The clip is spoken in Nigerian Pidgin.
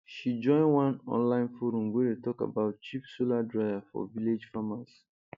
she join one online forum wey dey talk about cheap solar dryer for village farmers